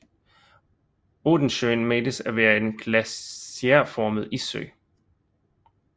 Odensjön menes at være en glaciærformet issø